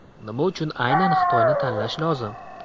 Nima uchun aynan Xitoyni tanlash lozim?